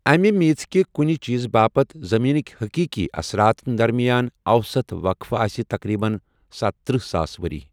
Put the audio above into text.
امہِ میٖژ کہِ کُنہِ چیٖزٕ باپت زٔمیٖنٕکۍ حٔقیٖقی اثراتن درمِیان اوسط وقفہٕ آسہِ تقریٖباً ستتٔرہ ساس ؤری۔